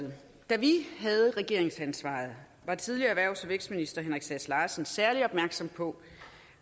da vi havde regeringsansvaret var tidligere erhvervs og vækstminister henrik sass larsen særlig opmærksom på